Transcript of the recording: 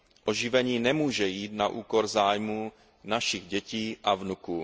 Oživení nemůže jít na úkor zájmů našich dětí a vnuků.